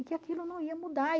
E que aquilo não ia mudar.